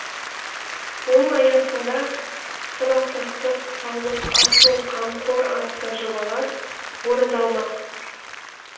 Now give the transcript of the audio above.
оның аясында сабақтастық саулық асыл қамқор атты жобалар орындалмақ